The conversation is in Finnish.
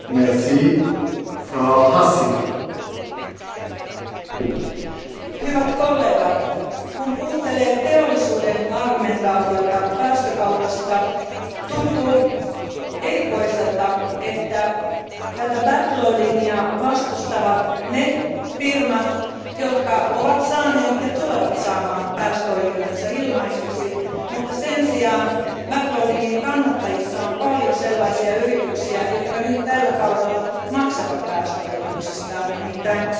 Arvoisa puhemies, hyvät kollegat, kun kuuntelee teollisuuden argumentaatiota päästökaupasta, tuntuu erikoiselta, että tätä back loadingia vastustavat ne firmat, jotka ovat saaneet ja tulevat saamaan päästöoikeutensa ilmaiseksi, mutta sen sijaan back loadingin kannattajissa on paljon sellaisia yrityksiä, jotka nyt tällä kaudella maksavat päästöoikeuksistaan, nimittäin sähköyhtiöitä.